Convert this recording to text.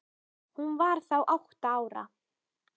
Hún var þá átta ára.